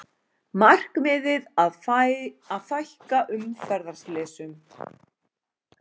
Markmiðið að fækka umferðarslysum